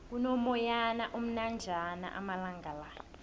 kuno moyana omnanjana amalangala